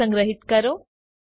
તેને સંગ્રહીત કરો